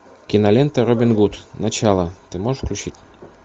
кинолента робин гуд начало ты можешь включить